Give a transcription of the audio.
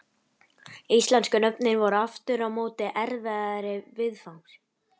Íslensku nöfnin voru aftur á móti erfiðari viðfangs.